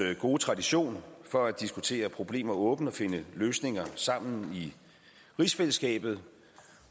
gode tradition for at diskutere problemer åbent og finde løsninger sammen i rigsfællesskabet